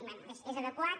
bé és adequat